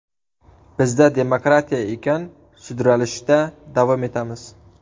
Bizda demokratiya ekan, sudralishda davom etamiz.